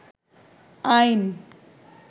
আইন